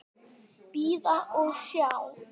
Bíða og sjá.